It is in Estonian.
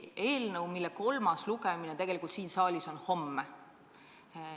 Eelnõu kolmas lugemine on siin saalis homme.